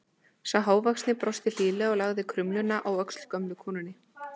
Sá hávaxnari brosti hlýlega og lagði krumluna á öxl gömlu konunni.